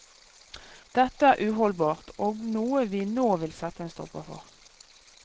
Dette er uholdbart, og noe vi nå vil sette en stopper for.